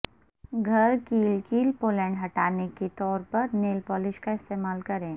گھر کیل کیل پولینڈ ہٹانے کے طور پر نیل پولش کا استعمال کریں